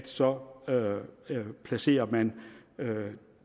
så placerer man